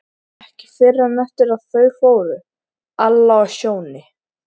Ekki fyrr en eftir að þau fóru, Alla og Sjóni.